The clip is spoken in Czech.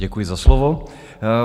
Děkuji za slovo.